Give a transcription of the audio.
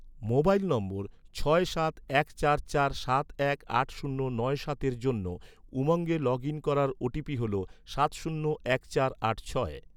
mobile নম্বর, ছয় সাত এক চার চার সাত এক আট শূন্য নয় সাতের জন্য, উমঙ্গে লগ ইন করার ওটিপি হল, সাত শূন্য এক চার আট ছয়